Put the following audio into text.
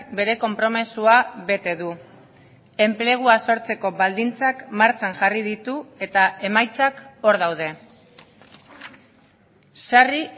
bere konpromisoa bete du enplegua sortzeko baldintzak martxan jarri ditu eta emaitzak hor daude sarri